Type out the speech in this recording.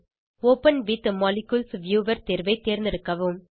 open with molecules viewer தேர்வை தேர்ந்தெடுக்கவும்